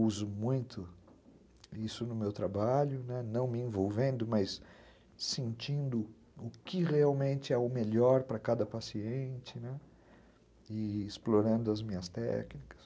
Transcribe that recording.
Uso muito isso no meu trabalho, né, não me envolvendo, mas sentindo o que realmente é o melhor para cada paciente, né, e explorando as minhas técnicas.